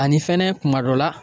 Ani fɛnɛ kuma dɔ la